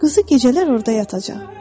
Quzu gecələr orada yatacaq.